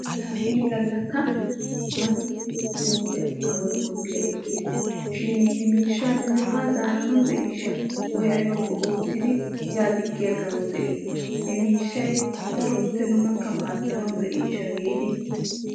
Laa inni gala mati bonddiya ekkiisshin he miishsha haa zaaranawu de'iyee digga awu de'i giidi qoppoos.